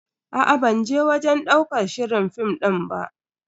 Aa ban je wajen ɗaukar shirin fim din ba.